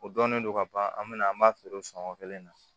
O dɔnnen don ka ban an bɛna an b'a feere o san o kelen na